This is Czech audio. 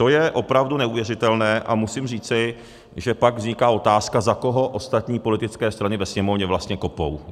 To je opravdu neuvěřitelné a musím říci, že pak vzniká otázka, za koho ostatní politické strany ve Sněmovně vlastně kopou.